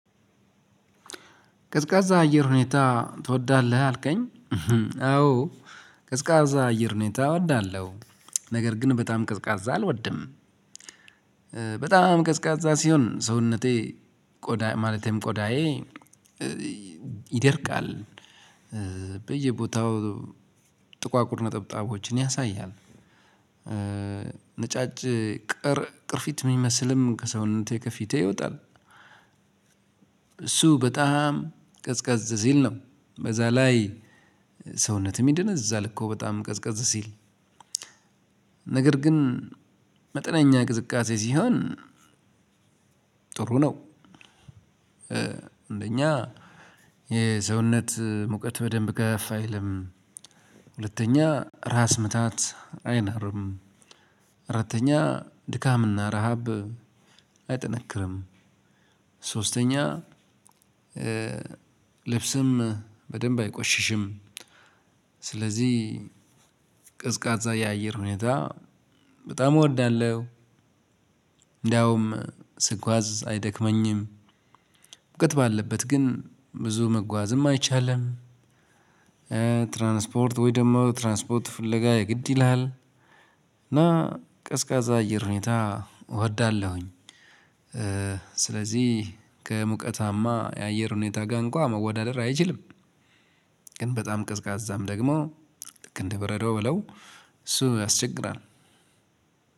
ቀዝቃዛ አየር ሁኔታ ትወዳለህ አልከኝ? አዎ። ቀዝቃዛ አየር ሁኔታ እወዳለሁ ነገር ግን በጣም ቀዝቃዛ አልወድም። በጣም ቀዝቃዛ ሲሆን ሰውነቴ ቆዳ ማለትም ቆዳዬ ይደርቃል በየቦታው ጥቋቁር ነጠብጣቦችን ያሳያል። ነጫጭ ቅርፊት የሚመስልም ከሰውነቴ ከፊቴ ይወጣል። እሱ በጣም ቀዝቀዝ ሲል ነው በዛ ላይ ሰውነትም ይደነዝዛል እኮ በጣም ቀዝቀዝ ሲል። ነገር ግን መጠነኛ ቅዝቃዜ ሲሆን ጥሩ ነው። አንደኛ የሰውነት ሙቀት በደንብ ከፍ አይልም። ሁለተኛ ራስ ምታት አይኖርም። አራተኛ ድካምና ረሃብ አይጠነክርም። ሶስተኛ ልብስም በደንብ አይቆሽሽም። ስለዚህ ቀዝቃዛ የአየር ሁኔታ በጣም እወዳለሁ። እንዳውም ስጓዝ አይደክመኝም። ሙቀት ባለበት ግን ብዙ መጓዝም አይቻልም። ትራንስፖርት ወይ ደግሞ ትራንስፖርት ፍለጋ የግድ ይልሃል። እና ቀዝቃዛ አየር ሁኔታ እወዳለሁኝ። ስለዚህ ከሙቀታማ የአየር ሁኔታ ጋ እንኳ መወዳደር አይችልም። ግን በጣም ቀዝቃዛም ደግሞ ልክ እንደ በረዶ በለው እሱ ያስቸግራል።